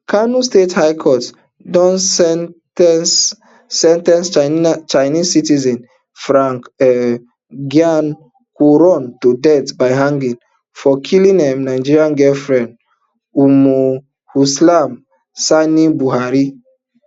kano state high court don sen ten ce sen ten ce chinese citizen frank um geng quarong to death by hanging for killing im nigerian girlfriend ummulkhulsum sani buhari